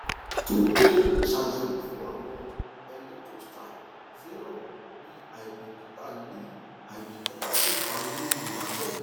tunto ṣayẹwo fun awọn electrolytes serum bi aibikita le aibikita le fa iru irora bẹẹ